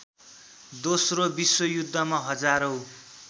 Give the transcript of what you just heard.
दोस्रो विश्वयुद्धमा हजारौँ